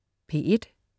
P1: